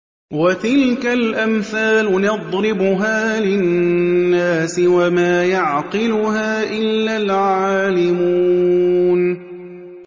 وَتِلْكَ الْأَمْثَالُ نَضْرِبُهَا لِلنَّاسِ ۖ وَمَا يَعْقِلُهَا إِلَّا الْعَالِمُونَ